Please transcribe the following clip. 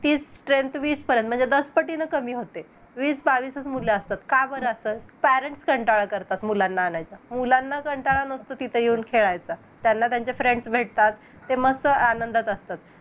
जेणेकरून पुण्याला ज्या उद्देशाने गेलेले असतात पण येताना त्यांच्याकडे काहीच नसतं म्हणजे rent वरती room घेन एकलकोंड राहण नोकरी शोधन काही possible नाही होत.